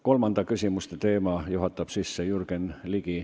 Kolmanda teema juhatab sisse Jürgen Ligi.